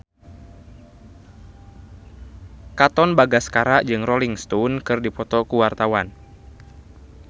Katon Bagaskara jeung Rolling Stone keur dipoto ku wartawan